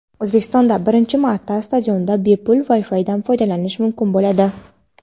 O‘zbekistonda birinchi marta stadionda bepul WiFi’dan foydalanish mumkin bo‘ladi.